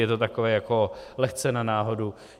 Je to takové jako lehce na náhodu.